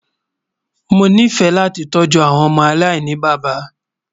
Mọ ní fẹ̀ lati tọju awọn ọmọ aláìnibaba